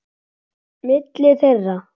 Milli þeirra